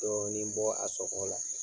Dɔɔnin bɔ a sɔgɔ la.